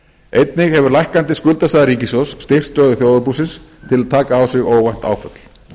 einnig hefur lækkandi skuldastaða ríkissjóðs styrkt stöðu þjóðarbúsins til að taka á sig óvænt áföll